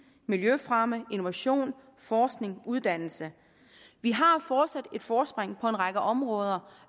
miljøfremme innovation forskning uddannelse vi har fortsat et forspring på en række områder